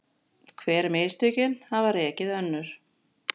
Hver mistökin hafa rekið önnur